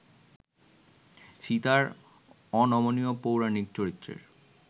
সীতার অনমনীয় পৌরাণিক চরিত্রের